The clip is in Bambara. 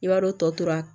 I b'a dɔn tɔ tora